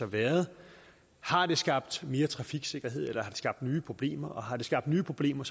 været har det skabt mere trafiksikkerhed eller har skabt nye problemer og har det skabt nye problemer